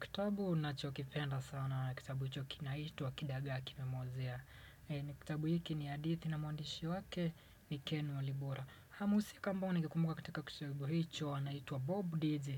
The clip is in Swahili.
Kitabu ninachokipenda sana ni kitabu hicho kinaitwa kidagaa kimemuozea kitabu hiki ni hadithi na mwandishi wake ni Ken Walibora mhusika ambaye ningekumbuka katika kitabu hicho anaitwa Bob DJ